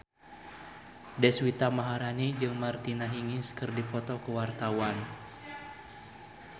Deswita Maharani jeung Martina Hingis keur dipoto ku wartawan